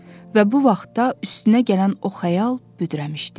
Və bu vaxtda üstünə gələn o xəyal büdrəmişdi.